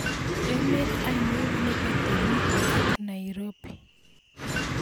Emet ainon neketeruut ak Nairobi